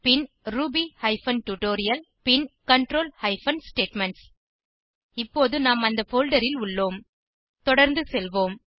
பின் Ruby hyphen tutorial பின் control hyphen statements இப்போது நாம் அந்த போல்டர் ல் உள்ளோம் தொடர்ந்து செல்வோம்